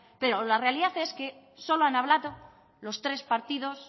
pero la realidad es que solo han hablado los tres partidos